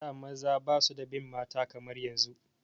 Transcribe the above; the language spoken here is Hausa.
A da maza ba su da bin mata kamar yanzu